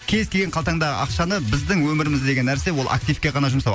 кез келген қалтаңдағы ақшаны біздің өміріміздегі нәрсе ол активке ғана жұмсау